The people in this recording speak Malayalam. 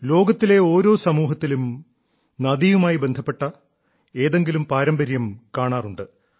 ലോകത്തിലെ ഓരോ സമൂഹത്തിലും നദിയുമായി ബന്ധപ്പെട്ട ഏതെങ്കിലും പാരമ്പര്യം കാണാറുണ്ട്